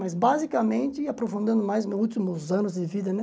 Mas basicamente, aprofundando mais nos últimos anos de vida, né?